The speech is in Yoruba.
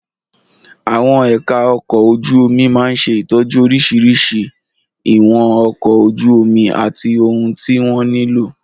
Àwọn ẹ̀ka ọkọ̀ ojú omi máa ń ṣe ìtọ́jú oríṣiríṣi ìwọ̀n ọkọ̀ ojú omi àti ohun tí wọ́n nílò.